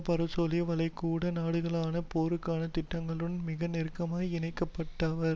பாரசீக வளைகுடா நாடுகளுடனான போருக்கான திட்டங்களுடன் மிக நெருக்கமாய் இனங்காணப்பட்டவர்